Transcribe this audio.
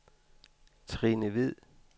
Trine Hvid